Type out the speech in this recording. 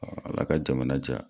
Ala ka jamana diya.